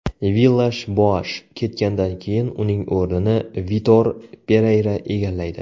Villash-Boash ketgandan keyin uning o‘rnini Vitor Pereyra egallaydi.